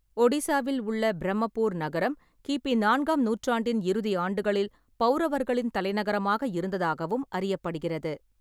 ஒடிசாவில் உள்ள பிரம்மபூர் நகரம் கிபி நான்காம் நூற்றாண்டின் இறுதி ஆண்டுகளில் பவுரவர்களின் தலைநகரமாக இருந்ததாகவும் அறியப்படுகிறது.